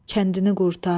Kəndini qurtar.